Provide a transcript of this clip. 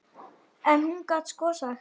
En hún gat sko sagt.